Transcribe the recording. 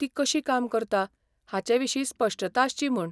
ती कशी काम करता हाचे विशीं स्पश्टता आसची म्हूण.